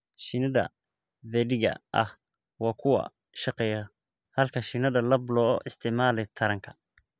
Shinnida dheddigga ah waa kuwa shaqeeya, halka shinnida lab loo isticmaalo taranka.